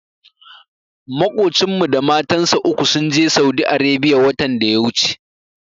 Maƙocinmu da matansa uku sun je Saudi Arebiya watan da ya wuce.